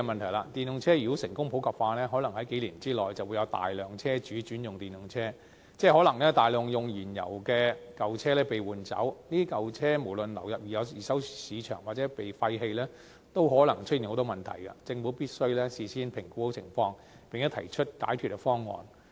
如果電動車成功普及化，可能在數年內會有大量車主轉用電動車，即可能有大量使用燃油的舊車被換走，這些舊車無論流入二手市場或被廢棄，也可能出現很多問題，政府必須事先評估情況，並先行提出解決方案。